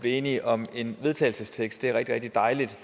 enige om en vedtagelsestekst det er rigtig rigtig dejligt